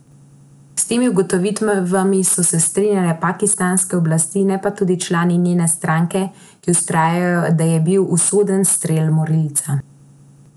S temi ugotovitvami so se strinjale pakistanske oblasti, ne pa tudi člani njene stranke, ki vztrajajo, da je bil usoden strel morilca.